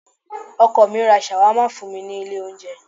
Ọkọ mi ra Shawarma fún mi ní ilé oúnjẹ.